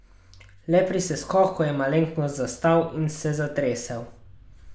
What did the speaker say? Le pri seskoku je malenkost zastal in se zatresel.